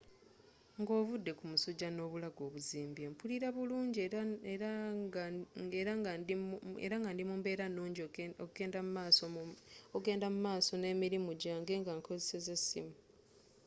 nga ovude ku musujja n’obulago obuzimbye, mpulira bulunji era nga ndi mu mbeera nunji okgenda mu maaso n’emirimu jange nga nkzesa essimu